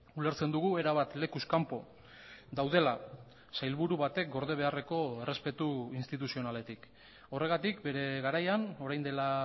ulertzen dugu erabat lekuz kanpo daudela sailburu batek gorde beharreko errespetu instituzionaletik horregatik bere garaian orain dela